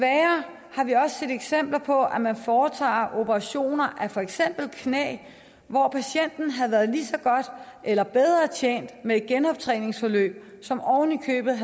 eksempler på at man foretager operationer af for eksempel knæ hvor patienten havde været lige så godt eller bedre tjent med et genoptræningsforløb som oven i købet